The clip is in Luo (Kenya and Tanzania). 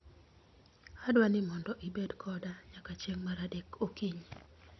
Adwaro ni mondo ibed koda nyaka chieng' mar adek okinyi